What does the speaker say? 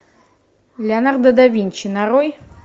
леонардо да винчи нарой